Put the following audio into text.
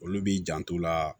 Olu b'i janto o la